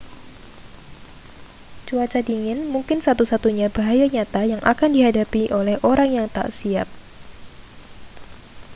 cuaca dingin mungkin satu-satunya bahaya nyata yang akan dihadapi oleh orang yang tak siap